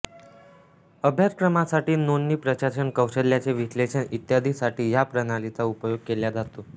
अभ्यासक्रमासाठी नोंदणी प्रशासन कौशल्याचे विश्लेषण ईत्यादि साठी ह्या प्रणालीचा उपयोग केल्या जातो